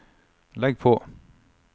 legg på